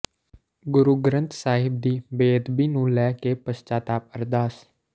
ਗੁਰੂ ਗ੍ਰੰਥ ਸਾਹਿਬ ਦੀ ਬੇਅਦਬੀ ਨੂੰ ਲੈ ਕੇ ਪਸ਼ਚਾਤਾਪ ਅਰਦਾਸ